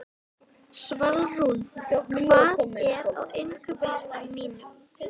Svalrún, hvað er á innkaupalistanum mínum?